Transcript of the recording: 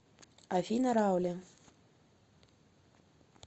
афина раули